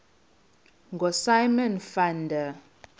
ngosimon van der